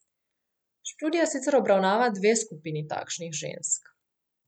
Študija sicer obravnava dve skupini takšnih žensk.